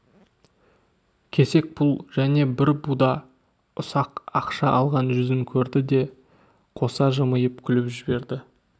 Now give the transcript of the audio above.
кесек пұл және бір буда ұсақ ақша алған жүзін көрді де қоса жымиып күліп жіберді